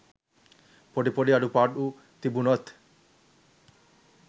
පොඩි පොඩි අඩුපාඩු තිබුණොත්